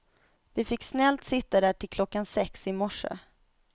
Vi fick snällt sitta där till klockan sex i morse.